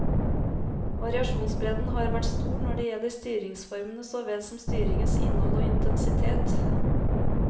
Variasjonsbredden har vært stor når det gjelder styringsformene såvel som styringens innhold og intensitet.